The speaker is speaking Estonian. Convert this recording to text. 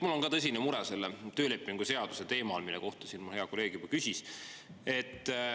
Mul on ka tõsine mure selle töölepingu seaduse teemal, mille kohta siin mu hea kolleeg juba küsis.